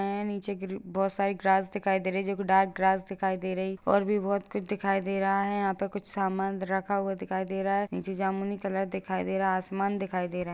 हैं नीचे ग्री बहोत सारी ग्रास दिखाई दे रही है जो की डार्क ग्रास दिखाई दे रही और भी बहोत कुछ दिखाई दे रहा है यहाँ पर कुछ समान रखा हुआ दिखाई दे रहा है नीचे जामुनी कलर दिखाई दे रहा है आसमान दिखाई दे रहा है ।